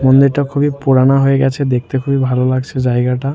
মন্দির টা খুবই পুরানা হয়ে গেছে দেখতে খুবই ভালো লাগছে জায়গাটা।